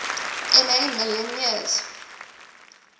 ma million years